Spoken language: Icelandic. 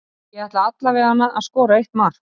Ég ætla alla veganna að skora eitt mark.